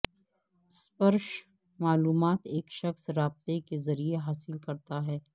سپرش معلومات ایک شخص رابطے کے ذریعے حاصل کرتا ہے